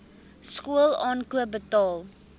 skool aankoop betaal